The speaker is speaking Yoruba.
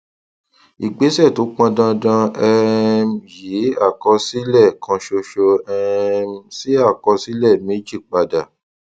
ìgbésẹ tó pọn dandan um yí àkọsílẹ kan ṣoṣo um sí àkọsílẹ méjì padà